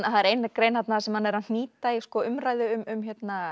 það er ein grein þarna þar sem hann er að hnýta í umræðu um